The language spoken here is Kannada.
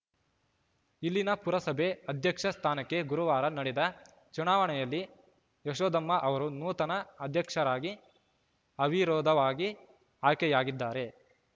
ಇಲ್ಲಿನ ಪುರಸಭೆ ಅಧ್ಯಕ್ಷ ಸ್ಥಾನಕ್ಕೆ ಗುರುವಾರ ನಡೆದ ಚುನಾವಣೆಯಲ್ಲಿ ಯಶೋಧಮ್ಮ ಅವರು ನೂತನ ಅಧ್ಯಕ್ಷರಾಗಿ ಅವಿರೋಧವಾಗಿ ಆಯ್ಕೆಯಾಗಿದ್ದಾರೆ